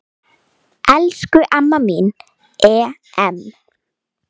Elsku amma mín Em.